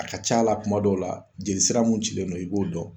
A ka ca la kuma dɔw la jeli sira mun cilen don i b'o dɔn